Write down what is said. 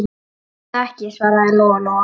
Segi það ekki, svaraði Lóa-Lóa.